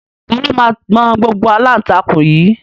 Ta ló máa gbọn gbogbo aláǹtakùn yìí?